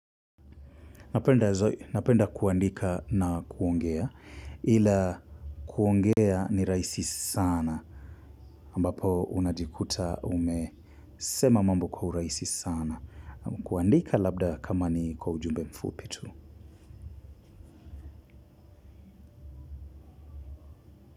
Napenda kuandika na kuongea ila kuongea ni rahisi sana ambapo unajikuta umesema mambo kwa urahisi sana kuandika labda kama ni kwa ujumbe mfupi tu.